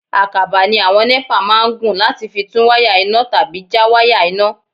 Àkàbà ni àwọn NEPA máa ń gùn láti fi tún wáyà iná tàbí já wáyà iná.